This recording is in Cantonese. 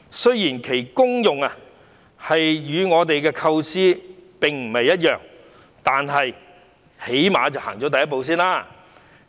雖然其功用與我們的構思並不一樣，但最低限度走出了第一步。